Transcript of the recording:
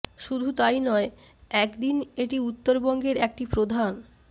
শুধু তাই নয় একদিন এটি উত্তর বঙ্গের একটি প্রধান